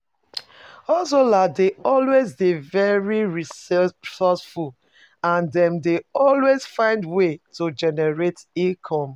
Hustlers dey always dey very resourceful and dem dey always find ways to generate income